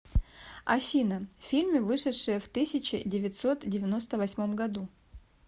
афина фильмы вышедшие в тысяче девятьсот девяносто восьмом году